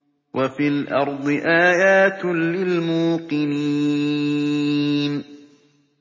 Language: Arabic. وَفِي الْأَرْضِ آيَاتٌ لِّلْمُوقِنِينَ